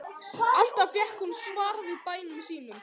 Alltaf fékk hún svar við bænum sínum.